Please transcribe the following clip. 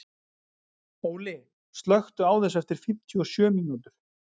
Óli, slökktu á þessu eftir fimmtíu og sjö mínútur.